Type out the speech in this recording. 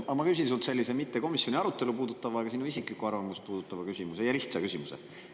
Ma küsin sult sellise mitte komisjoni arutelu puudutava, vaid sinu isiklikku arvamust puudutava küsimuse, ja lihtsa küsimuse.